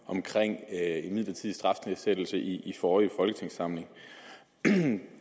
jeg i en midlertidig strafnedsættelse i forrige folketingssamling